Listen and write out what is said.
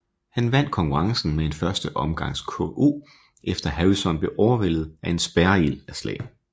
Han vandt konkurrencen med en første omgangs KO efter Harrison blev overvældet af en spærreild af slag